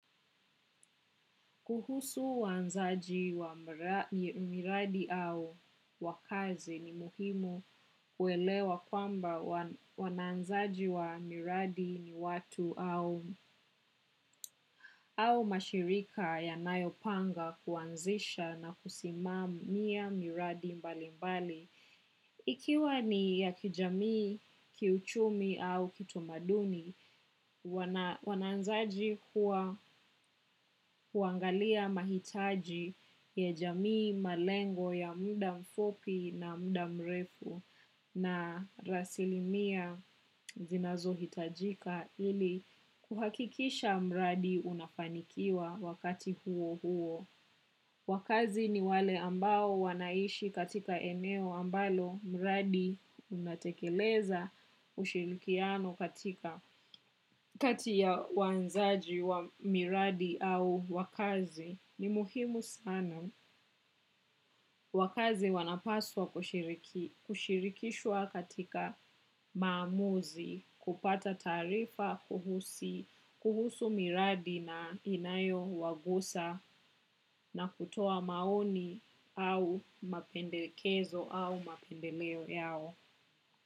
Kuhusu waanzaji wa miradi au wakazi ni muhimu kuelewa kwamba waananzaji wa miradi ni watu au mashirika yanayopanga kuanzisha na kusimamia miradi mbali mbali. Ikiwa ni ya kijamii, kiuchumi au kitamaduni, wananzaji kuwa kuangalia mahitaji ya jamii malengo ya muda mfupi na muda mrefu na rasilimia zinazo hitajika ili kuhakikisha mradi unafanikiwa wakati huo huo. Wakazi ni wale ambao wanaishi katika eneo ambalo mradi unatekeleza ushirikiano katika katia waanzaji wa miradi au wakazi ni muhimu sana. Wakazi wanapaswa kushirikishwa katika maamuzi, kupata taarifa, kuhusu miradi na inayowagusa na kutoa maoni au mapendekezo au mapendeleo yao.